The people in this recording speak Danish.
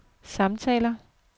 samtaler